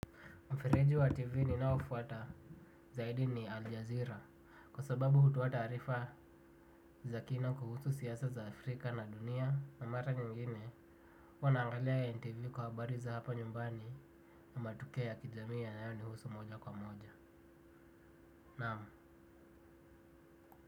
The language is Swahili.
Mfereji wa TV ninaofuata zaidi ni Al Jazeera kwa sababu hutoa taarifa za kina kuhusu siasa za Afrika na dunia na mara nyingine huwa naangalia NTV kwa habari za hapa nyumbani na matukio ya kijamii yanayonihusu moja kwa moja. Naam.